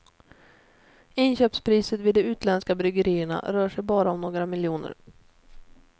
Inköpspriset vid de utländska bryggerierna rör sig bara om några miljoner.